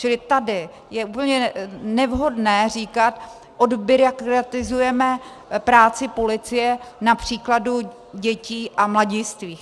Čili tady je úplně nevhodné říkat "odbyrokratizujeme práci policie" na příkladu dětí a mladistvých.